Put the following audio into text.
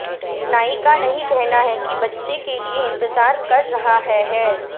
नायिका नहीं कहना है कि बच्चे के लिए इंतजार कर रहा है है